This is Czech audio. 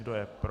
Kdo je pro?